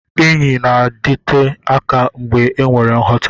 Enyi na-adịte aka mgbe enwere nghọta.